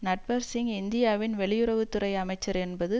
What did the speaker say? நட்வர் சிங் இந்தியாவின் வெளியுறவு துறை அமைச்சர் என்பது